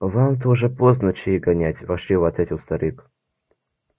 вам-то уже поздно чаи гонять ворчливо ответил старик